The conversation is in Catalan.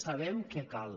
sabem què cal